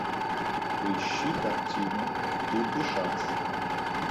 поищи картину тур де шанс